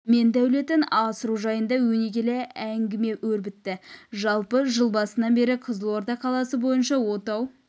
мен дәулетін асыру жайында өнегелі әңгіме өрбітті жалпы жыл басынан бері қызылорда қаласы бойынша отау